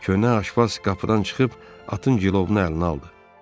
Köhnə aşpaz qapıdan çıxıb atın cilovunu əlinə aldı.